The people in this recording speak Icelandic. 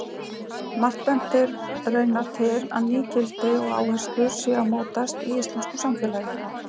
Margt bendir raunar til að ný gildi og áherslur séu að mótast í íslensku samfélagi.